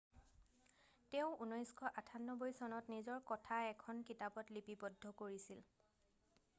তেওঁ 1998 চনত নিজৰ কথা এখন কিতাপত লিপিবদ্ধ কৰিছিল